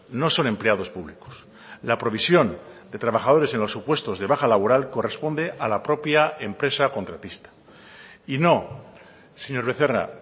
no son empleados públicos la provisión de trabajadores en los supuestos de baja laboral corresponde a la propia empresa contratista y no señor becerra